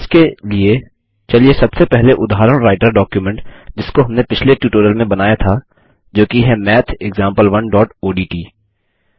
इसके लिए चलिए सबसे पहले उदाहरण राईटर डॉकुमेंट जिसको हमने पिछले ट्यूटोरियल में बनाया था जोकि है mathexample1ओडीटी